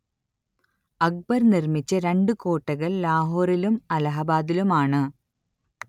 അക്ബർ നിർമിച്ച രണ്ടു കോട്ടകൾ ലാഹോറിലും അലഹബാദിലുമാണ്